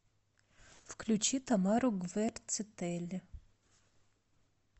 включи тамару гвердцители